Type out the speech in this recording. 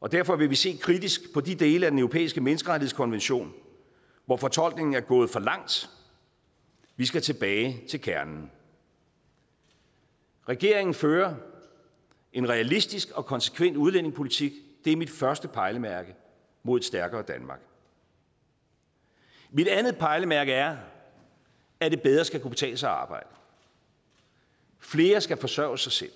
og derfor vil vi se kritisk på de dele af den europæiske menneskerettighedskonvention hvor fortolkningen er gået for langt vi skal tilbage til kernen regeringen fører en realistisk og konsekvent udlændingepolitik det er mit første pejlemærke mod et stærkere danmark mit andet pejlemærke er at det bedre skal kunne betale sig at arbejde flere skal forsørge sig selv